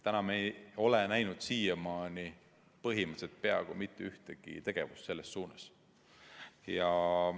Täna me ei ole näinud põhimõtteliselt peaaegu mitte ühtegi tegevust selles suunas.